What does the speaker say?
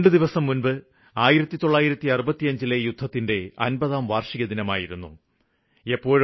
രണ്ട് ദിവസം മുമ്പാണ് 1965ലെ യുദ്ധത്തിന് 50 വര്ഷം പൂര്ത്തിയായത്